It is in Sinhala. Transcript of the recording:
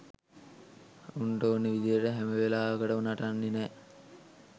උන්ට ඕන විදියට හැම වෙලාවකටම නටන්නෙ නෑ